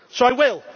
So I will.